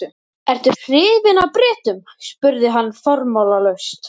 Ertu hrifinn af Bretum? spurði hann formálalaust.